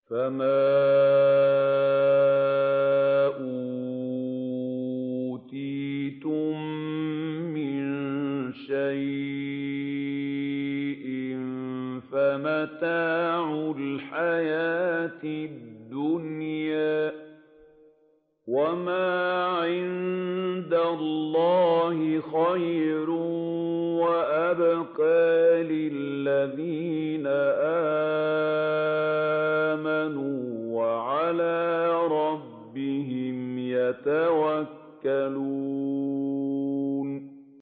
فَمَا أُوتِيتُم مِّن شَيْءٍ فَمَتَاعُ الْحَيَاةِ الدُّنْيَا ۖ وَمَا عِندَ اللَّهِ خَيْرٌ وَأَبْقَىٰ لِلَّذِينَ آمَنُوا وَعَلَىٰ رَبِّهِمْ يَتَوَكَّلُونَ